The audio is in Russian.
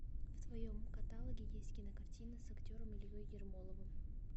в твоем каталоге есть кинокартина с актером ильей ермоловым